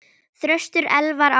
Þröstur Elvar Ákason.